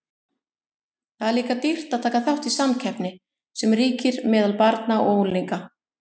Það er líka dýrt að taka þátt í samkeppninni sem ríkir meðal barna og unglinga.